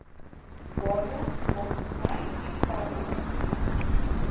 waarborgmaatskappy eksterne maatsakappy